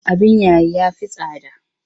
Abin yayi ya fi tsada.